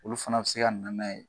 Olu fana be se ka nana ye.